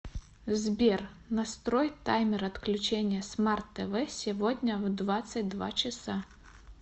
сбер настрой таймер отключения смарт тв сегодня в двадцать два часа